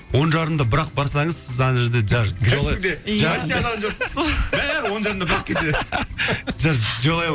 он жарымда бірақ барсаңыз сіз ана жерде даже